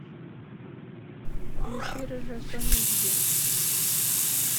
включи рыжая соня эйч ди